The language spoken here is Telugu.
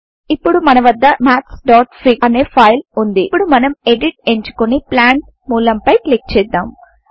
ఇప్పుడు మన వద్ద mathsఫిగ్ అనే ఫైల్ వుంది ఇప్పుడు మనం ఎడిట్ ఎంచుకొని ప్లాంట్ మూలం పై క్లిక్ చేద్దాం